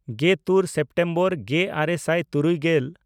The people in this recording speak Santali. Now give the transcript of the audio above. ᱜᱮᱛᱩᱨ ᱥᱮᱯᱴᱮᱢᱵᱚᱨ ᱜᱮᱼᱟᱨᱮ ᱥᱟᱭ ᱛᱩᱨᱩᱭ ᱜᱮᱞ